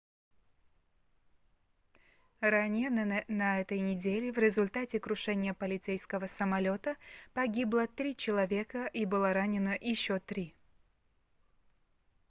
ранее на этой неделе в результате крушения полицейского самолёта погибло три человека и было ранено еще три